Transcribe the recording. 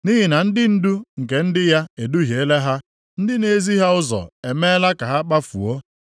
Nʼihi na ndị ndu nke ndị ya eduhiela ha; ndị na-ezi ha ụzọ emeela ka ha kpafuo.